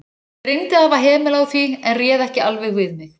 TRYGGVI: Þær tóku af mér hátíðlegt loforð um að koma með þig næst.